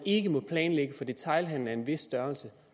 ikke må planlægges for detailhandel af en vis størrelse